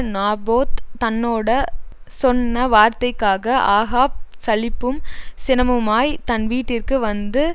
Naboth தன்னோட சொன்ன வார்த்தைக்காக ஆகாப் சலிப்பும் சினமுமாய் தன் வீட்டிற்கு வந்து